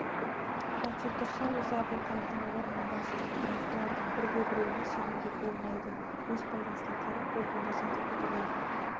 жатса-тұрса ойы әбілқайырдың орнын басу бірақ бұлардың бірде-біреуіне сенуге болмайды өз пайдасына қарай оп-оңай сатып кетулері